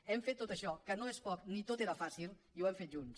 hem fet tot això que no és poc ni tot era fàcil i ho hem fet junts